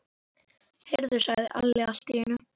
Heyrðu, sagði Alli allt í einu.